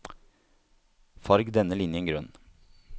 Farg denne linjen grønn